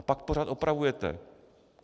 A pak pořád opravujete.